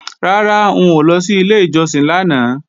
Rárá, n ò lọ sí ilé ìjọsìn lánàá